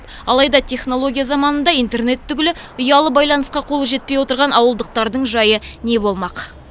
алайда технология заманында интернет түгілі ұялы байланысқа қолы жетпей отырған ауылдықтардың жайы не болмақ